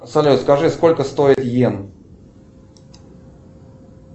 салют скажи сколько стоит йен